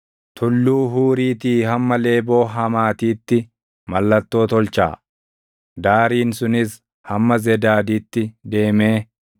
Tulluu Huuriitii hamma Leeboo Hamaatiitti mallattoo tolchaa. Daariin sunis hamma Zedaaditti deemee